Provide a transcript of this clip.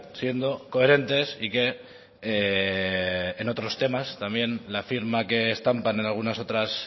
siendo coherentes y que en otros temas también la firma que estampan en algunas otras